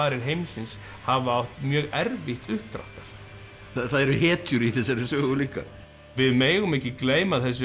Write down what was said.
heimsins hafa átt mjög erfitt uppdráttar það eru hetjur í þessari sögu líka við megum ekki gleyma þessum